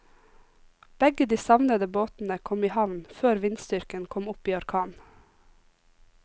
Begge de savnede båtene kom i havn før vindstyrken kom opp i orkan.